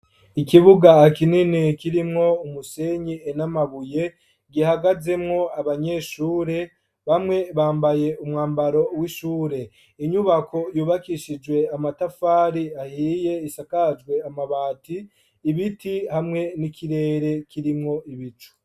Ikibuga kinini kirimwo umusenyi n'amabuye gihagazemwo abanyeshure bamwe bambaye umwambaro w'ishure inyubako yubakishijwe amatafari ahiye isakajwe amabati ibiti hamwe n'ikirere kirimwo ibicu.